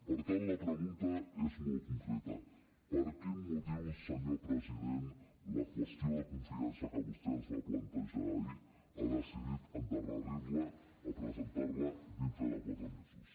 per tant la pregunta és molt concreta per quin motiu senyor president la qüestió de confiança que vostè ens va plantejar ahir ha decidit endarrerir la presentar la d’aquí a quatre mesos